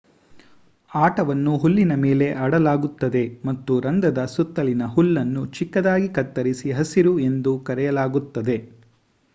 ಆಟವನ್ನು ಹುಲ್ಲಿನ ಮೇಲೆ ಆಡಲಾಗುತ್ತದೆ ಮತ್ತು ರಂಧ್ರದ ಸುತ್ತಲಿನ ಹುಲ್ಲನ್ನು ಚಿಕ್ಕದಾಗಿ ಕತ್ತರಿಸಿ ಹಸಿರು ಎಂದು ಕರೆಯಲಾಗುತ್ತದೆ